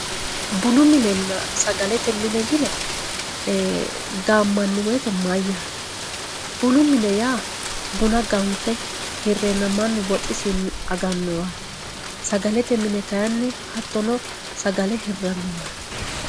bunu minenna sagalete mine yine gaammanni woyiite mayyaate bunu mine yaa buna ganfe hirreenna mannu woxisinni agannowaati sagalete mine yaa hattono sagale hirranniwaati